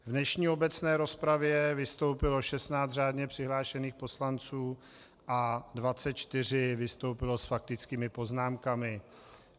V dnešní obecné rozpravě vystoupilo 16 řádně přihlášených poslanců a 24 vystoupilo s faktickými poznámkami.